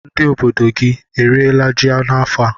Ndị obodo gị eriela ji n'afọ a?